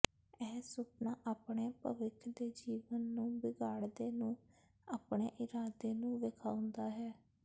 ਇਹ ਸੁਪਨਾ ਆਪਣੇ ਭਵਿੱਖ ਦੇ ਜੀਵਨ ਨੂੰ ਬਿਗਾੜਦੇ ਨੂੰ ਆਪਣੇ ਇਰਾਦੇ ਨੂੰ ਵੇਖਾਉਦਾ ਹੈ